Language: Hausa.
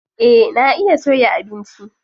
Eh na iya soya abinci.